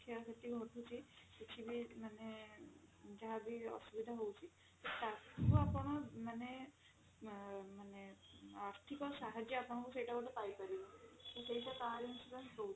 କ୍ଷୟକ୍ଷତି ଘଟୁଛି କିଛି ବି ମାନେ ଯାହା ବି ଅସୁବିଧା ହଉଛି ତ ତାକୁ ଆପଣ ମାନେ ମାନେ ଆର୍ଥିକ ସାହାଜ୍ଯ ଆପଣଙ୍କୁ ସେଇଟା ଗୋଟେ ପାଇପାରିବେ ତ ସେଇଟା car insurance ଦଉଛି